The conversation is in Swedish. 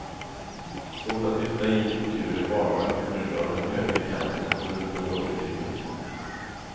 Svårt att lyfta i och ur en barnvagn på grund av den höga kanten runt bagageutrymmet.